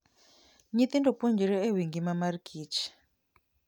Nyithindo puonjore e wi ngima mar kich.